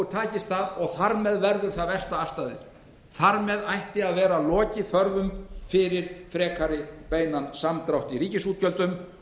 takist það og þar með verður það versta afstaðið þar með ætti að vera lokið þörfum fyrir frekari beinan samdrátt í ríkisútgjöldum